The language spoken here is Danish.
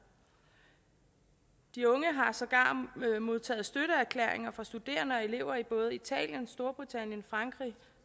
de unge har sågar modtaget støtteerklæringer fra studerende og elever i både italien storbritannien frankrig